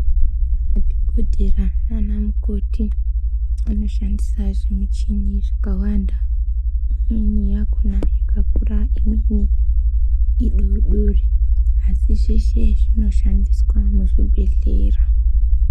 Madhogodheya nanamukoti vanoshandisa zvimicheni zvakawanda. Imweni yakhona yakakura, imweni idodori asi zveshe zvinoshandiswa muchibhedhlera.